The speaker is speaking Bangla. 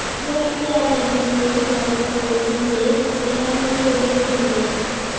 গুয়াহাটিতে আজ একজন প্রবীণ কর্মকর্তা বলেছেন যে সেনাবাহিনীর অভিযোগে নিয়োগ